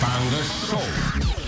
таңғы шоу